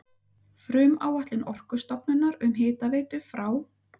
Frumáætlun Orkustofnunar um hitaveitu frá